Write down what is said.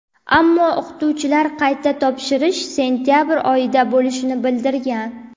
Ammo o‘qituvchilar qayta topshirish sentabr oyida bo‘lishini bildirgan.